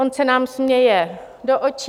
On se nám směje do očí.